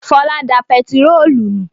Fọlá da pẹtírólù nù.